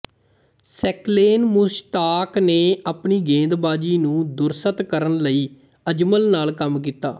ਸਕਲੇਨ ਮੁਸ਼ਤਾਕ ਨੇ ਆਪਣੀ ਗੇਂਦਬਾਜ਼ੀ ਨੂੰ ਦਰੁਸਤ ਕਰਨ ਲਈ ਅਜਮਲ ਨਾਲ ਕੰਮ ਕੀਤਾ